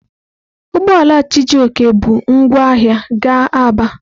Ugbo ala Chijioke bu ngwa ahia ga Aba.